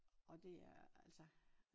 Og det er altså